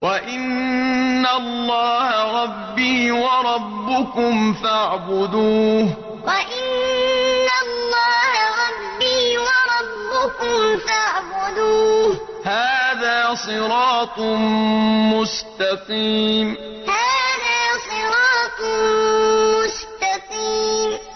وَإِنَّ اللَّهَ رَبِّي وَرَبُّكُمْ فَاعْبُدُوهُ ۚ هَٰذَا صِرَاطٌ مُّسْتَقِيمٌ وَإِنَّ اللَّهَ رَبِّي وَرَبُّكُمْ فَاعْبُدُوهُ ۚ هَٰذَا صِرَاطٌ مُّسْتَقِيمٌ